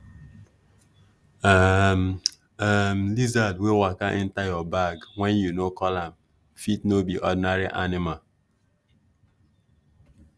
um um lizard wey waka enter your bag when you no call am fit no be ordinary animal